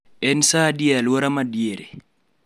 En saa adi e alwora ma diere